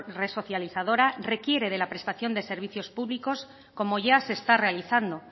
resocializadora requiere de la prestación de servicios públicos como ya se está realizando